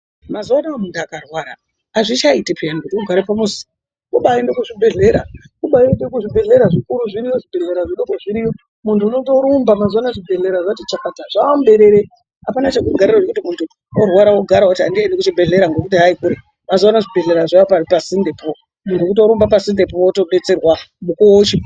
Mazuwa anaya muntu Makwara azvichaiti pheyaa kuti ugare pamuzi. Kubaaenda kuzvibhendlera zvikuru zviri yo, zvidoko zviri yo. Muntu unotorumba mazuwa anaya zvibhedhleya zvati chakata. Zvaamuberere, apana chekugarira ngekuti kuti muntu warwara ogara oti andiendi kuchibhedhleya. Muntu kutorumba oenda pasinde po mukuwo uchirpo.